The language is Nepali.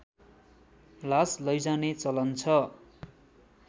लास लैजाने चलन छ